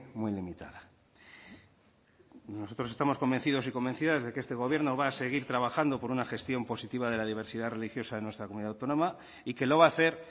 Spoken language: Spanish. muy limitada nosotros estamos convencidos y convencidas de que este gobierno va a seguir trabajando por una gestión positiva de la diversidad religiosa en nuestra comunidad autónoma y que lo va a hacer